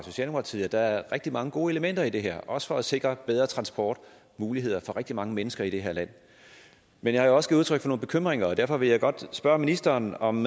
side at der er rigtig mange gode elementer i det her også for at sikre bedre transportmuligheder for rigtig mange mennesker i det her land men jeg har jo også givet udtryk for nogle bekymringer derfor vil jeg godt spørge ministeren om